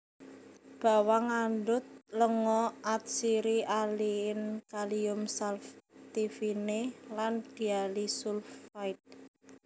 Bawang ngandhut lenga atsiri aliin kalium saltivine lan diallysulfide